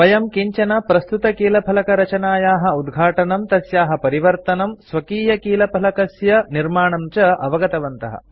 वयं किञ्चन प्रस्तुतकीलफलकरचनायाः कीबोर्ड लेआउट उद्घाटनं तस्याः परिवर्तनं स्वकीयकीलफलकस्य कीबोर्ड निर्माणं च अवगतवन्तः